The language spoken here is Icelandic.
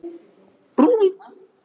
Ómar, hvað er í matinn?